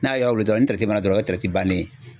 N'a y'a wuli dɔrɔn ni dɔrɔn o ye bannen ye.